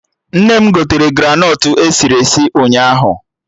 Nne m gotere granọt esiri esi ụnyaahụ